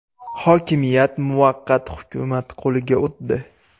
Hokimiyat muvaqqat hukumat qo‘liga o‘tdi.